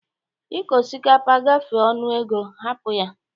Ịko osikapa gafee nnu ego, hapụ ya!